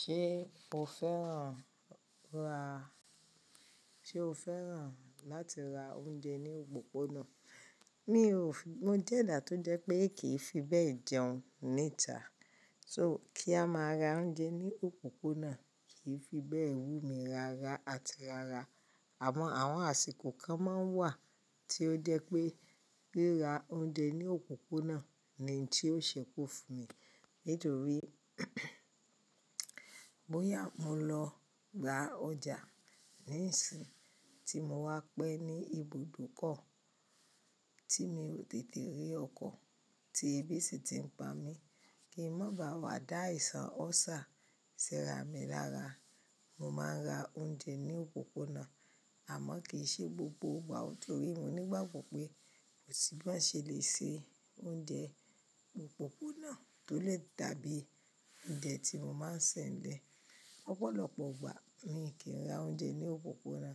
Ṣé o fẹ́ràn ra, ṣe o fẹ́ràn láti ra oúnjẹ ní òpópónà? Mi ò fi mo jẹ́ ẹ̀dà tó jẹ́ pé kì í fi bẹ́ẹ̀ jẹun níta. So kí a máa ra oúnjẹ ní òpópónà kìí fi bẹ́ẹ̀ wú mi rárá àti rárá. Àmọ́ àwọn àsìkò kan máa ń wà tí ó jẹ́ pé ríra oúnjẹ ní òpópónà ni n tí ó ṣẹ́kù fún mi. Nítorí bóyá mo lọ ra ọjà ní ìsìn tí mo wá pẹ́ ní ibùdókọ̀ tí mi ò tètè rí ọkọ̀ tí ẹbí sì ti ń pa mí, kí ń má ba à má dá àìsàn ulcer síra mi lára. Mo máa ń ra oúnjẹ ní òpópónà, àmọ́ kì í ṣe gbogbo ìgbà. Nítorí mo nígbàgbọ́ pé kò sì báa ṣe lè ṣe oúnjẹ òpópónà tó le dàbí oúnjẹ tí mo máa ń sè ńlẹ̀. Lọ́pọ̀lọpọ̀ ìgbà mi kì n ra oúnjẹ ní òpópónà,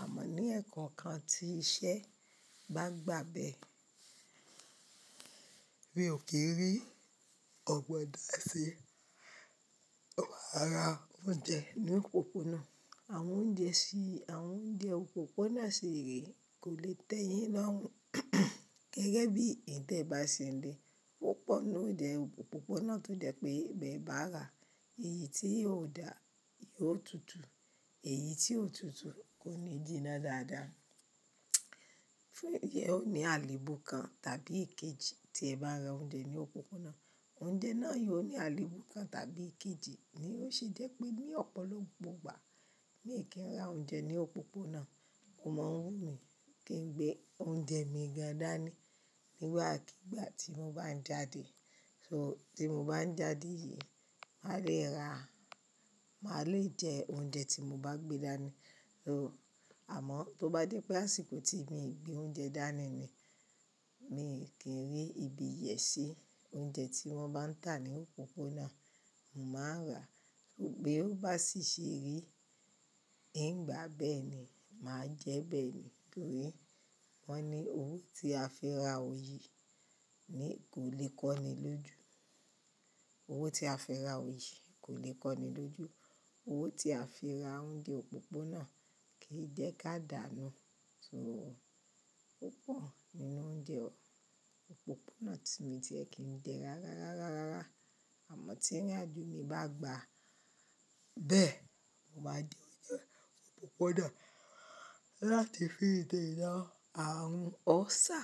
àmọ́ ní ẹ̀ẹ̀kọ̀ọ̀kan tí iṣẹ́ bá gbà bẹ́ẹ̀, mi ò kí n rí ogbọn da ṣi, maa ra oúnjẹ ní òpópónà. Àwọn oúnjẹ sí, àwọn oúnjẹ òpópónà sì rè kò lè tẹ́yìn lọ́run. Gẹ́gẹ́ bí ntẹ́ ba ṣe n le, púpọ̀ nínú oúnjẹ òpópónà tó jẹ́ pé bí ẹ bá rà, èyí tí ò dà yóò tutù, èyí tí ò tutù kò ní jína dáadáa. Fún yẹn o ní àléébù kan tàbí ìkejì tí ẹ bá ra oúnjẹ ní òpópónà, oúnjẹ náà yóò ní àléébù kan tàbí ìkejì ni ó ṣe jẹ́ pé ní ọ̀pọ̀lọpọ̀ ìgbà mi kì n ra oúnjẹ ní òpópónà ò maa n wúmi kí ń gbé oúnjẹ mi gan dání nígbàkíìgbà tí mo bá ń jáde. So tí mo bá ń jáde yìí, máa lè ra, máa lè jẹ oúnjẹ tí mo bá gbé dání. Àmọ́ tó bá jẹ́ pé àsìkò tí mi n gbé oúnjẹ dání ni, mi n kí rí ibi yèṣi oúnjẹ tí wọ́n bá ń tà ní òpópónà, mo máa n rà. Bí ó bá sì ṣe rí, ngbà bẹ́ẹ̀ ni màá jẹ́ bẹ́ẹ̀ ni. Torí wọ́n ní owó tí a fi ra oyi ni kò lè kọ́ni lójú. Owó tí a fi ra oyè kò lè kọ́ni lójú. Owó tí a fi ra oúnjẹ òpópónà kìí jẹ́ ká dànù. So púpọ̀ nínú oúnjẹ òpópónà tí mii ti e kìn jẹ́ rárárá rárá. Àmọ́ tí ìrìn àjò mi bá gbà bẹ́ẹ̀, mo máa jẹ oúnjẹ òpópónà láti fi dẹ́náa àrùn ọ́sà.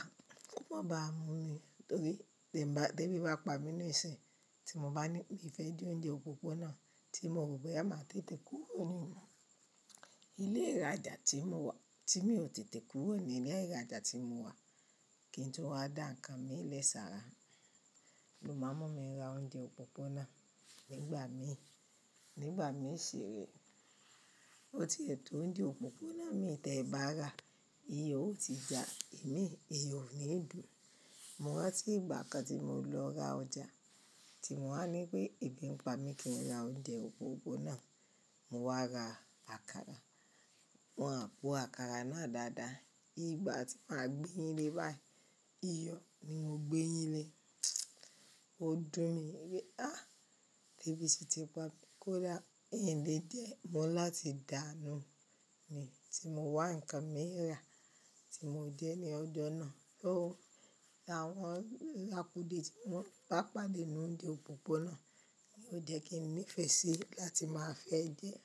Kó má baà mú mi, torí tí ń bá, tí ẹbí bá pa mí ní ìsìn tí mo bá ní min fẹ́ jẹ oúnjẹ òpópónà tí mo rò bóyá máa tètè kúrò ní. Ilé ìràjà tí mo wà, tí mi ò tètè kúrò ní ilé ìràjà tí mo wà, kí n tún wá dá ǹkan mi lè sára, lo máa ń mú mi ra oúnjẹ òpópónà nígbà míì, nígbà míì ṣiré. Ó tí è tò oúnjẹ òpópónà mi tẹ̀ bá rà, ìyo ó ti já ìmí, ìyo ó níì dùn. Mo rántí ìgbà kan tí mo lọ ra ọjà, tí mo wá ní pé ebi n pa mí kí n ra oúnjẹ òpópónà, mo wá ra àkàrà. Wọn ò po àkàrà náà dáadáa. Ìgbà tí màá gbéyin lé báyìí, iyọ̀ ni mo gbé eyin lé. Ó dùn mí wípé, ah! Tẹ́bí sì ti pa, ko dà. Ìn lè jẹ́ mọ́ ni láti dà nù ni tí mo wá ǹkan mi rà tí mo jẹ́ ní ọjọ́ náà. Sò, àwọn akude tí mọ́n bá pàdé nínú oúnjẹ òpópónà ni ó jẹ́ kí n níìfẹ̀ẹ́ sí láti máa fẹ́ jẹ ẹ́.